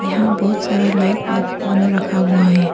यहां बहुत सारा लाइट लोग ऑन रखा हुआ है।